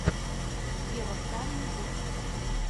ева стар ютуб